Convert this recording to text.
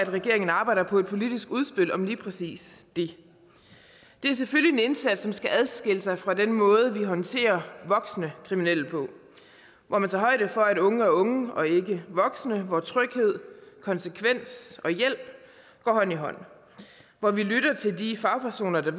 regeringen arbejder på et politisk udspil om lige præcis det det er selvfølgelig en indsats som skal adskille sig fra den måde vi håndterer voksne kriminelle på hvor man tager højde for at unge er unge og ikke voksne hvor tryghed konsekvens og hjælp går hånd i hånd hvor vi lytter til de fagpersoner der